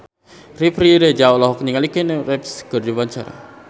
Riri Reza olohok ningali Keanu Reeves keur diwawancara